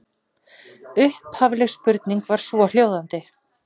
Upphafleg spurning var svohljóðandi: